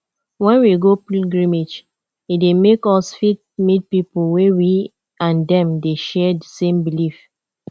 when we go pilgrimage e dey make us fit meet pipo wey we and dem dey share di same belief